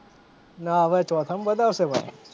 ના હવે ચોથા માં બતાવશે ભાઈ,